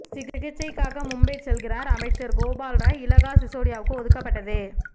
சிகிச்சைக்காக மும்பை செல்கிறார் அமைச்சர் கோபால் ராய் இலாகா சிசோடியாவுக்கு ஒதுக்கப்பட்டது